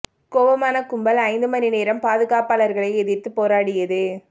கோபமான கும்பல் ஐந்து மணி நேரம் பாதுகாப்பாளர்களை எதிர்த்து போராடியது